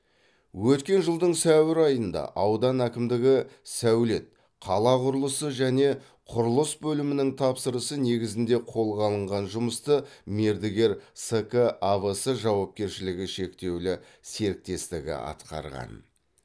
өткен жылдың сәуір айында аудан әкімдігі сәулет қала құрылысы және құрылыс бөлімінің тапсырысы негізінде қолға алынған жұмысты мердігер ск авс жауапкершілігі шектеулі серіктестігі атқарған